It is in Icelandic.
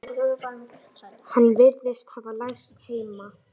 Hann virðist hafa lært heima.